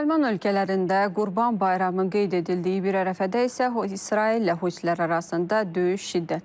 Müsəlman ölkələrində Qurban Bayramı qeyd edildiyi bir ərəfədə isə, İsraillə husilər arasında döyüş şiddətlənib.